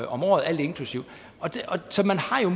om året alt inklusive så man har